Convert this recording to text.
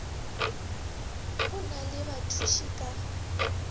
go na le bathuši ka